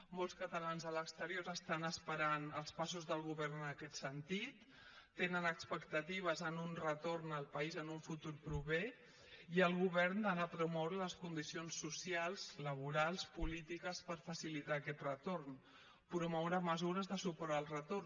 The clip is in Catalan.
molts catalans a l’exterior estan esperant els passos del govern en aquest sentit tenen expectatives en un retorn al país en un futur proper i el govern ha de promoure les condicions socials laborals polítiques per facilitar aquest retorn promoure mesures de suport al retorn